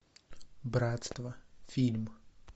братство фильм